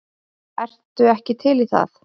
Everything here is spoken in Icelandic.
Ertu ekki til í það?